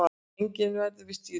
Enginn verður við stýrið